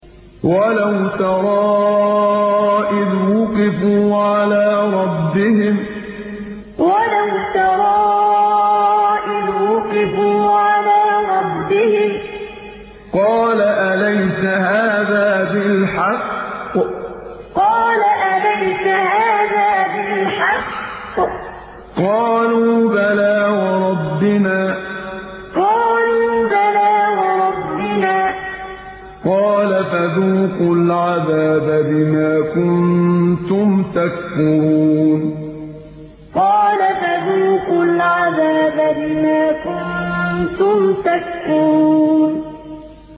وَلَوْ تَرَىٰ إِذْ وُقِفُوا عَلَىٰ رَبِّهِمْ ۚ قَالَ أَلَيْسَ هَٰذَا بِالْحَقِّ ۚ قَالُوا بَلَىٰ وَرَبِّنَا ۚ قَالَ فَذُوقُوا الْعَذَابَ بِمَا كُنتُمْ تَكْفُرُونَ وَلَوْ تَرَىٰ إِذْ وُقِفُوا عَلَىٰ رَبِّهِمْ ۚ قَالَ أَلَيْسَ هَٰذَا بِالْحَقِّ ۚ قَالُوا بَلَىٰ وَرَبِّنَا ۚ قَالَ فَذُوقُوا الْعَذَابَ بِمَا كُنتُمْ تَكْفُرُونَ